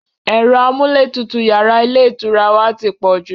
Ẹ̀rọ amúlétutù yàrá ilé ìtura wa ti pọ̀ jù